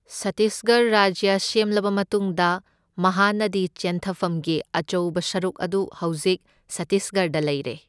ꯁꯠꯇꯤꯁꯒꯔ ꯔꯥꯖ꯭ꯌ ꯁꯦꯝꯂꯕ ꯃꯇꯨꯡꯗ ꯃꯍꯥꯅꯗꯤ ꯆꯦꯟꯊꯐꯝꯒꯤ ꯑꯆꯧꯕ ꯁꯔꯨꯛ ꯑꯗꯨ ꯍꯧꯖꯤꯛ ꯁꯠꯇꯤꯁꯒꯔꯗ ꯂꯩꯔꯦ꯫